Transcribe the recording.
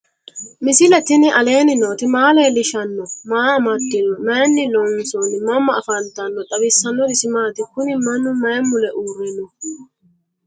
misile tini alenni nooti maa leelishanni noo? maa amadinno? Maayinni loonisoonni? mama affanttanno? xawisanori isi maati? kuuni manu mayi mule ure no?